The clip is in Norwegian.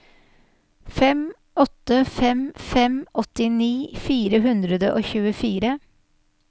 fem åtte fem fem åttini fire hundre og tjuefire